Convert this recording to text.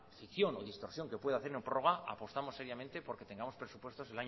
fricción o distorsión que pueda hacer una prórroga apostamos seriamente porque tengamos presupuestos